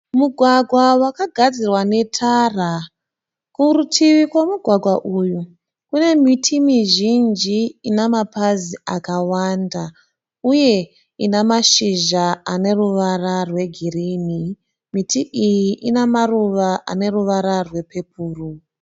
Mugwagwa wakagadzirwa netara. Kurutivi rwemugwagwa uyu kune miti mizhinji ine pamazi akawanda uye ine mashizha ane ruvara rwegirinhi. Miti iyi ine maruva aneruvara rwepepuru.